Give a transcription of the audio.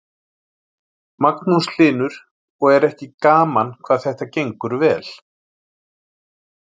Magnús Hlynur: Og er ekki gaman hvað þetta gengur vel?